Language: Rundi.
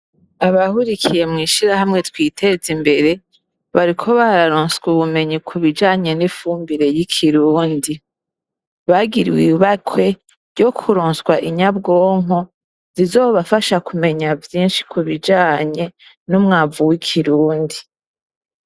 Abahurikiye mw'ishirahamwe Twitezimbere, bariko bararonswa ubumenyi ku bijanye n'ifumbire y'ikirundi. Bagiriwe ibakwe ryo kuronswa inyabwonko zizobafasha kumenya vyinshi ku bijanye n'umwavu w'ikirundi.